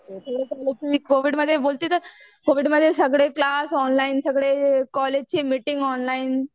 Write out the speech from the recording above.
कोविडमध्ये बोलती तर सगळे माझे सगळे क्लास ऑनलाइन. सगळे कॉलेजची मिटिंग ऑनलाईन.